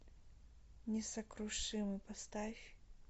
несокрушимый поставь